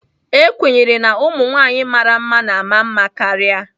A kwenyere na ụmụ nwanyị mara mma na-ama mma karịa.